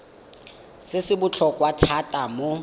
se se botlhokwa thata mo